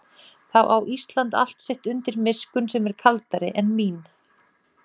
Þá á Ísland allt sitt undir miskunn sem er kaldari en mín.